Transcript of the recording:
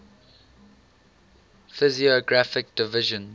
physiographic divisions